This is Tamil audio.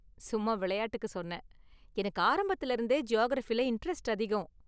சும்மா விளையாட்டுக்கு சொன்னேன், எனக்கு ஆரம்பத்துல இருந்தே ஜியாகிரஃபில இண்டரெஸ்ட் அதிகம்.